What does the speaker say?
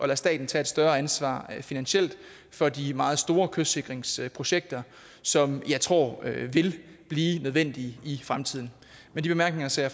lade staten tage et større ansvar finansielt for de meget store kystsikringsprojekter som jeg tror vil blive nødvendige i fremtiden med de bemærkninger ser